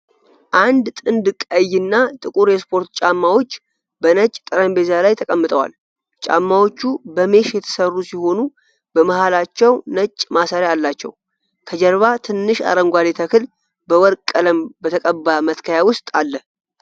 አንድ ጥንድ ቀይ እና ጥቁር የስፖርት ጫማዎች በነጭ ጠረጴዛ ላይ ተቀምጠዋል። ጫማዎቹ በሜሽ የተሰሩ ሲሆኑ በመሃላቸው ነጭ ማሰሪያ አላቸው። ከጀርባ ትንሽ አረንጓዴ ተክል በወርቅ ቀለም በተቀባ መትከያ ውስጥ አለ።